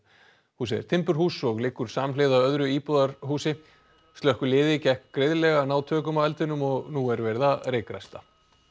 húsið er timburhús og liggur samhliða öðru íbúðarhúsi slökkviliði gekk greiðlega að ná tökum á eldinum og nú verið að reykræsta